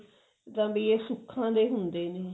B ਸੁੱਖਾਂ ਦੇ ਹੁੰਦੇ ਨੇ